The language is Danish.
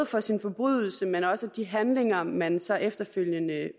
for sin forbrydelse men også at de handlinger man så efterfølgende